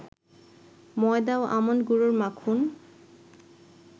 ময়দা ও আমন্ড গুঁড়ো মাখুন